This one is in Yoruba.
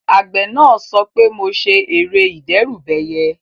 Àgbẹ̀ náà sọ pé "mo ṣe ère ìdẹ́rùbẹyẹ"